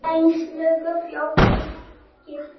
Steinn Logi forstjóri Skipta